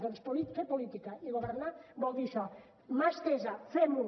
doncs fer política i governar vol dir això mà estesa fem ho